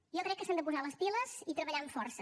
jo crec que s’han de posar les piles i treballar amb força